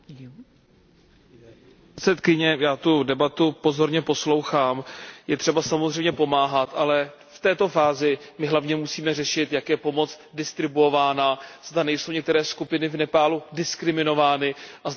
Já tuto debatu pozorně poslouchám. Je třeba samozřejmě pomáhat, ale v této fázi my hlavně musíme řešit, jak je pomoc distribuována, zda nejsou některé skupiny v Nepálu diskriminovány a zda tedy pomoc splňuje účel.